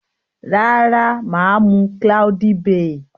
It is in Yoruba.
Rara, maa mu cloudy bay.